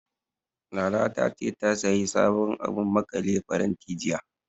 Lala ta ce, ta sayi sabon abun maƙale faranti, jiya.